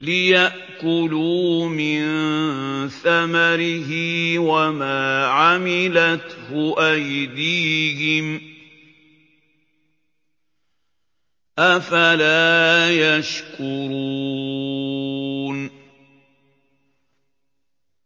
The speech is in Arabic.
لِيَأْكُلُوا مِن ثَمَرِهِ وَمَا عَمِلَتْهُ أَيْدِيهِمْ ۖ أَفَلَا يَشْكُرُونَ